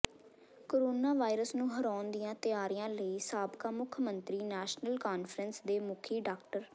corona virus ਨੂੰ ਹਰਾਉਣ ਦੀਆਂ ਤਿਆਰੀਆਂ ਲਈ ਸਾਬਕਾ ਮੁੱਖ ਮੰਤਰੀ ਨੈਸ਼ਨਲ ਕਾਨਫਰੰਸ ਦੇ ਮੁਖੀ ਡਾ